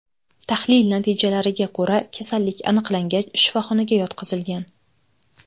Tahlil natijalariga ko‘ra, kasallik aniqlangach, shifoxonaga yotqizilgan.